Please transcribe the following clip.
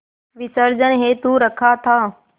विसर्जन हेतु रखा था